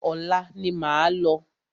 Ọ̀la ni máa lọ.